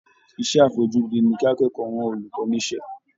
Iṣẹ́ àfojúdi ni kí akẹ́kọ̀ọ́ rán olùkọ́ ní iṣẹ́